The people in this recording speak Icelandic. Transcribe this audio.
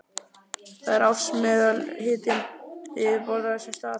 Það er ársmeðalhitinn við yfirborð á þessum stað.